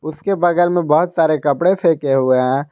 इसके बगल में बहुत सारे कपड़े फेके हुए है।